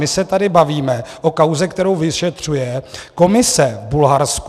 My se tady bavíme o kauze, kterou vyšetřuje komise v Bulharsku.